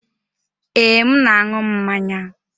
Ee, m na-aṅụ mmanya.